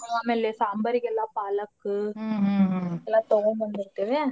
ಆಮೇಲೆ ಸಾಂಬಾರಿಗೆಲ್ಲ ಗೆಲ್ಲಾ ಪಾಲಕ್ಕ್ ಎಲ್ಲಾ ತಗೋಂಬಂದಿರ್ತೀವ್ಯಾ .